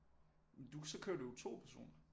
Så kører du jo 2 personer